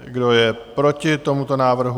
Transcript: Kdo je proti tomuto návrhu?